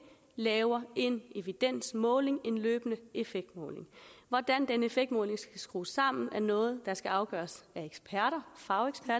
laver en evidensmåling en løbende effektmåling hvordan den effektmåling skal skrues sammen er noget der skal afgøres